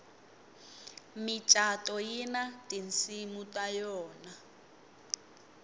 micato yina tinsimu ta yona